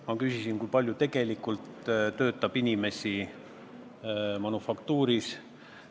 Ma küsisin, kui palju inimesi manufaktuuris töötab.